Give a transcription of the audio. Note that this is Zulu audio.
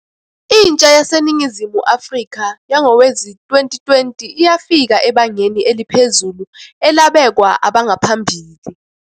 Intsha yaseNingizimu Afrika yangowezi-2020 iyafika ebangeni eliphezulu elabekwa abangaphambili.